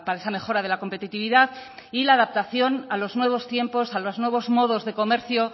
esa mejora de la competitividad y la adaptación a los nuevos tiempos a los nuevos modos de comercio